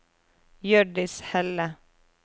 Hjørdis Helle